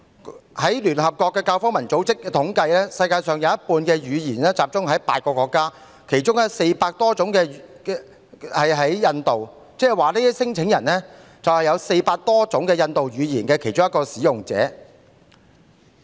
根據聯合國教育、科學及文化組織的統計，世界上有半數語言集中在8個國家，其中有400多種屬於印度，即是說這些聲請人是400多種印度語言的其中一種的使用者。